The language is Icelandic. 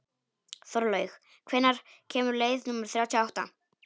Þorlaug, hvenær kemur leið númer þrjátíu og átta?